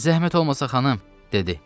Zəhmət olmasa xanım, dedi.